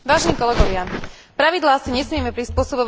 Pravidlá si nesmieme prispôsobovať, ako sa nám chce.